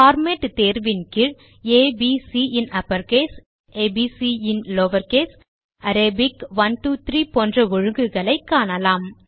format தேர்வின் கீழ் A B C இன் அப்பர்கேஸ் ஆ ப் சி இன் lowercaseஅரபிக் 1 2 3 போன்ற ஒழுங்குகளை காணலாம்